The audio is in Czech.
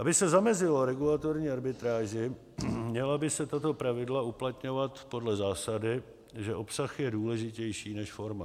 Aby se zamezilo regulatorní arbitráži, měla by se tato pravidla uplatňovat podle zásady, že obsah je důležitější než forma.